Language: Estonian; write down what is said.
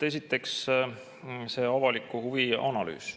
Esiteks, avaliku huvi analüüs.